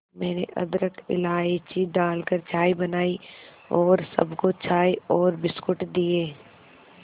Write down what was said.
मैंने अदरक इलायची डालकर चाय बनाई और सबको चाय और बिस्कुट दिए